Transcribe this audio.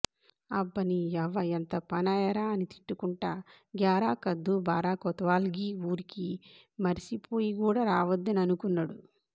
అబ్బనీయవ్వ ఎంత పనాయెరా అని తిట్టుకుంట గ్యారాకద్దూ బారా కొత్వాల్ గీ ఊరికి మరిసిపోయి గూడ రావద్దని అనుకున్నడు